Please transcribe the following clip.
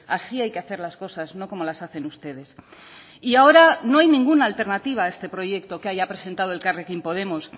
así hay que hacer las cosas no como las hacen ustedes y ahora no hay ninguna alternativa a este proyecto que haya presentado elkarrekin podemos